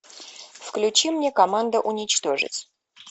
включи мне команда уничтожить